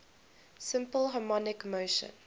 simple harmonic motion